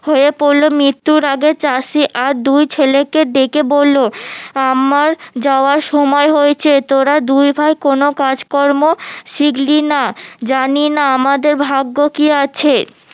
হয়ে পড়লো মৃত্যুর আগে তার সে আর দুই ছেলেকে ডেকে বললো আমার যাওয়ার সময় হয়েছে তোরা দুই ভাই কোনো কাজকর্ম শিখলিনা জানিনা আমাদের ভাগ্য কি আছে